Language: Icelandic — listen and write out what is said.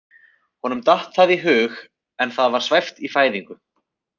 Honum datt það í hug en það var svæft í fæðingu.